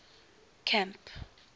camp